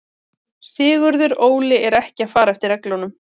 Sigurður Óli er ekki að fara eftir reglum.